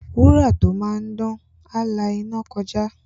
Wúrà tó máa dán, á la iná kọjá.